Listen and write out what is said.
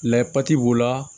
Layɛ pati b'o la